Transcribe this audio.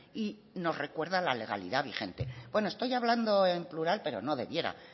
y nos recuerda la legalidad vigente bueno estoy hablando en plural pero no debiera